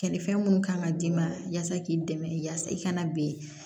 Kɛnɛ fɛn minnu kan ka d'i ma yaasa k'i dɛmɛ yasa i kana ben